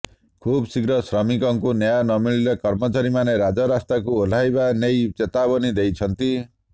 ଖୁବ୍ ଶୀଘ୍ର ଶ୍ରମିକଙ୍କୁ ନ୍ୟାୟ ନ ମିଳିଲେ କର୍ମଚାରୀମାନେ ରାଜରାସ୍ତାକୁ ଓହ୍ଲାଇବା ନେଇ ଚେତାବନୀ ଦେଇଛନ୍ତି